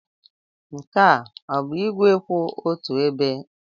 Nke a ọ bụ igwe kwụ otu ebe?